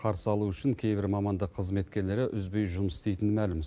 қарсы алу үшін кейбір мамандық қызметкерлері үзбей жұмыс істейтіні мәлім